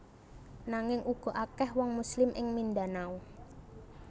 Nanging uga akèh wong Muslim ing Mindanao